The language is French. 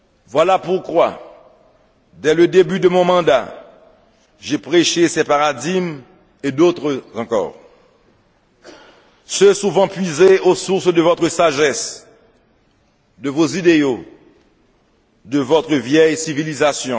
Voilà pourquoi, dès le début de mon mandat, j'ai prêché ces paradigmes et d'autres encore ceux souvent puisés aux sources de votre sagesse, de vos idéaux, de votre vieille civilisation